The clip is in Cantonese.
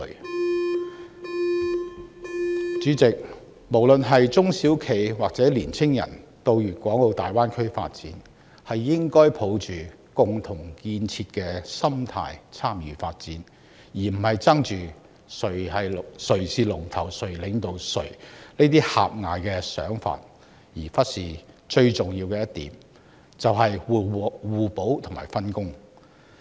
代理主席，不論是中小企抑或青年人，他們到大灣區發展時，應該抱着共同建設的心態參與發展，而不是執着於誰是龍頭或領導者的狹隘想法，忽略互補和分工才是成功關鍵。